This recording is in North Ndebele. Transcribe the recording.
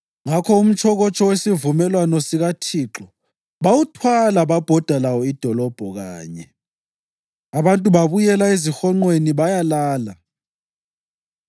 Ngakho umtshokotsho wesivumelwano sikaThixo bawuthwala babhoda lawo idolobho kanye. Abantu babuyela ezihonqweni bayalala.